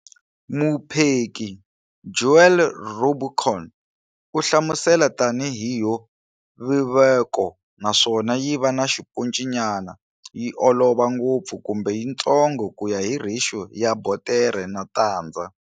Mupheki Joël Robuchon u hlamusela tani hi yo vevuka naswona yiva na xiponci nyana, yi olova ngopfu kumbe yitsongo kuya hi ratio ya botere na tandza.